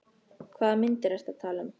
Hvaða myndir ertu að tala um?